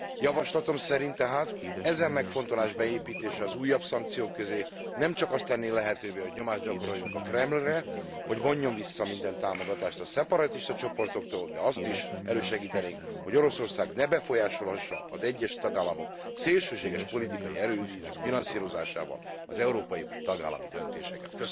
Javaslatom szerint tehát, ezen megfontolás beépítése az újabb szankciók közé nemcsak azt tenné lehetővé, hogy nyomást gyakoroljunk a Kremlre, hogy vonjon vissza minden támogatást a szeparatista csoportoktól, de azt is elősegítenénk, hogy Oroszország ne befolyásolhassa az egyes tagállamok szélsőséges politikai erőinek finanszírozásával az európai vagy tagállami döntéseket.